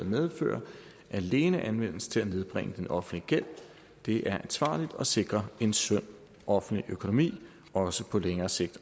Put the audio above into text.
medfører alene anvendes til at nedbringe den offentlige gæld det er ansvarligt og sikrer en sund offentlig økonomi også på længere sigt